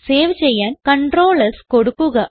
save ചെയ്യാൻ Ctrl s കൊടുക്കുക